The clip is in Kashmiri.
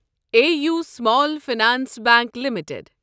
A U small finance bank limited